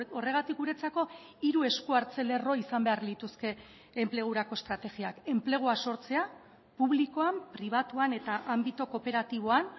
horregatik guretzako hiru eskuartze lerro izan behar lituzke enplegurako estrategiak enplegua sortzea publikoan pribatuan eta anbito kooperatiboan